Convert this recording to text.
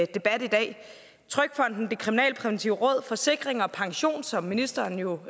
debat i dag trygfonden det kriminalpræventive råd forsikring pension som ministeren jo